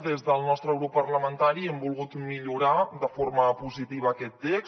des del nostre grup parlamentari hem volgut millorar de forma positiva aquest text